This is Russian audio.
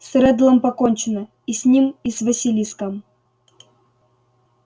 с реддлом покончено и с ним и с василиском